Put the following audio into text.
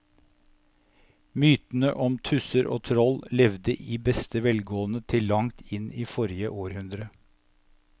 Mytene om tusser og troll levde i beste velgående til langt inn i forrige århundre.